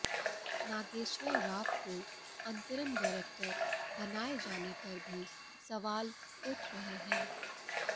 नागेश्वर राव को अंतरिम डायरेक्टर बनाए जाने पर भी सवाल उठ रहे हैं